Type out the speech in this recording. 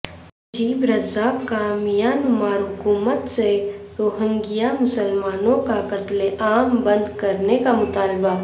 نجیب Razak کا Myanmar حکومت سے روہنگیا مسلمانوں کا قتل عام بند کرنے کا مطالبہ